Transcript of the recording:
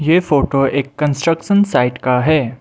ये फोटो एक construction site का है।